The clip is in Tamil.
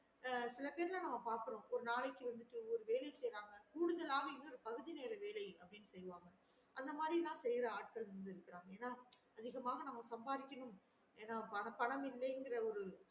அஹ் சில பேர் எல்லாம் நாங்க பாக்கிரோம் ஒரு நாளைக்கு ஒரு வேலை செய்றாங்க கூடுதலாக இவங்க பகுதி நேர வேல செய்வாங்க அந்த மாறி எல்லாம் செய்ய ஆட்கள் இருக்காங்க ஏன்னா அதிகமாக நம்ம சம்பாதிக்கணும் என்ன பணம் இல்லன்ற ஒரு